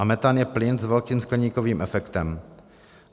A metan je plyn s velkým skleníkovým efektem.